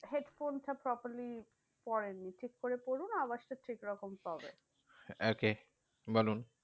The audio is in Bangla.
Headphone টা properly পরেন নি। ঠিককরে পড়ুন আওয়াজটা ঠিক রকম পাবেন। okay বলুন,